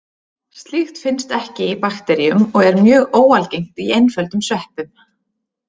Slíkt finnst ekki í bakteríum og er mjög óalgengt í einföldum sveppum.